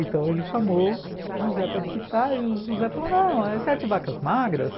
Então ele chamou José para decifrar e o José falou não as sete vacas magras.